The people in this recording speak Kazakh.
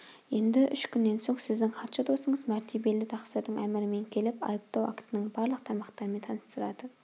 енді үш күннен соң сіздің хатшы досыңыз мәртебелі тақсырдың әмірімен келіп айыптау актының барлық тармақтарымен таныстырады